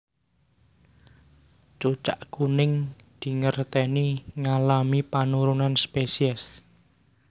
Cucak kuning dingerteni ngalami penurunan spesies